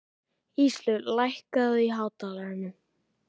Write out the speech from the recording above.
Íslaug, lækkaðu í hátalaranum.